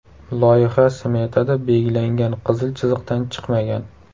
Loyiha smetada belgilangan qizil chiziqdan chiqmagan.